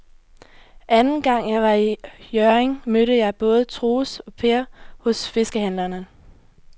Anden gang jeg var i Hjørring, mødte jeg både Troels og Per hos fiskehandlerne.